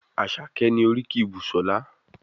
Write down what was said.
Àṣàkẹ́ ni oríkì Busola.